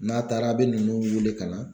N'a taara a bɛ ninnu wele ka na